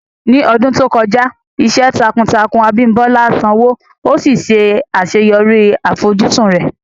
Ní ọdún tó kọjá, iṣẹ́ takuntakun Abimbola sanwó, ó sì ṣe àṣeyọrí àfojúsùn rẹ̀.